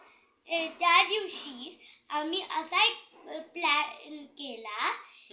त्या दिवशी आम्ही असा एक plan केला